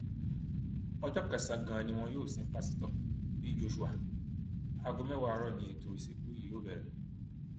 ọjọ kẹsànán ganan ni wọn yóò sin pásítọ bí joshua aago mẹwàá àárọ ni ètò ìsìnkú yìí yóò bẹrẹ